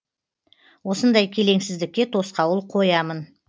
осындай келеңсіздікке тосқауыл қоямын